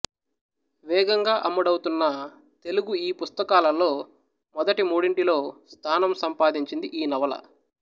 వేగంగా అమ్ముడవుతున్న తెలుగు ఈ పుస్తకాలల్లో మొదటి మూడింటిలో స్థానం సంపాదించింది ఈ నవల